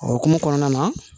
O hokumu kɔnɔna na